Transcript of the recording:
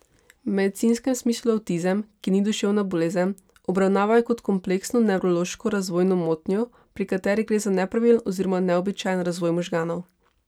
V medicinskem smislu avtizem, ki ni duševna bolezen, obravnavajo kot kompleksno nevrološko razvojno motnjo, pri kateri gre za nepravilen oziroma neobičajen razvoj možganov.